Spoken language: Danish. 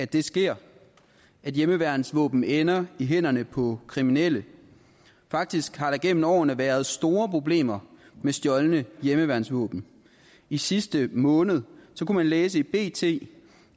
det sker at hjemmeværnsvåben ender i hænderne på kriminelle faktisk har der igennem årene været store problemer med stjålne hjemmeværnsvåben i sidste måned kunne man læse i bt